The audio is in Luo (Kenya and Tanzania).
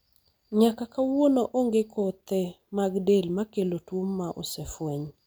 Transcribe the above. nyaka kawuono, onge kothe mag del makelo tuo ma osefweny